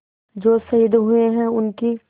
जो शहीद हुए हैं उनकी